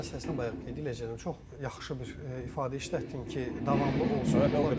Davamlı məsələsinə bayaq qeyd eləyirdilər, çox yaxşı bir ifadə işlətdin ki, davamlı olsun.